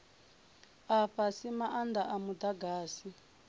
a fhasi maanda a mudagasi